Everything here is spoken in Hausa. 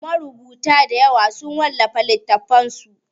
Marubuta dayawa sun wallafa littatafansu.